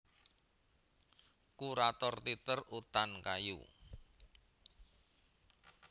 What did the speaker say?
Kurator Teater Utan Kayu